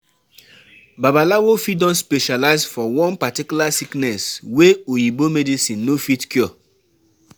Babalawo fit don specialize for one particular sickness wey oyibo medicine no fit cure